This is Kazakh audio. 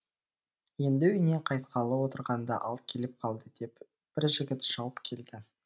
енді үйіне қайтқалы отырғанда ал келіп қалды деп бір жігіт шауып келді